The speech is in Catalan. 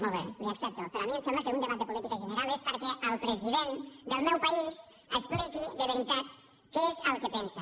molt bé li ho accepto però a mi em sembla que un debat de política general és perquè el president del meu país expliqui de veritat què és el que pensa